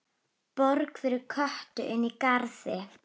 Borg fyrir Kötu inní garði.